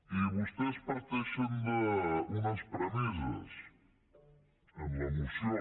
i vostès parteixen d’unes premisses en la moció